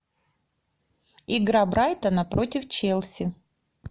игра брайтона против челси